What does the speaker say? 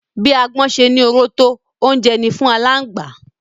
Bí agbọ́n ṣe ní oró tó, oúnjẹ ni fún aláǹgbá